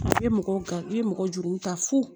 A bɛ mɔgɔ i bɛ mɔgɔ juru ta fu